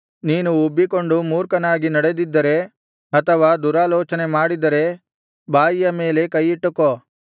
ನೀನು ಉಬ್ಬಿಕೊಂಡು ಮೂರ್ಖನಾಗಿ ನಡೆದಿದ್ದರೆ ಅಥವಾ ದುರಾಲೋಚನೆಮಾಡಿದ್ದರೆ ಬಾಯಿಯ ಮೇಲೆ ಕೈಯಿಟ್ಟುಕೋ